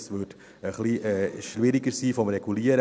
Das wäre vom Regulieren her ein bisschen schwieriger.